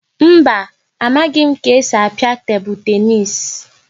Mba, amaghị m ka esi a pịa tebụl tenis